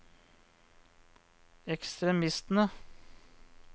ekstremistene